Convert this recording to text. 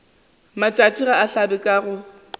matšatši ga a hlabe ka